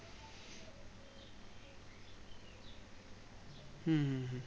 হুম হুম হুম